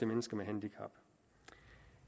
mennesker med handicap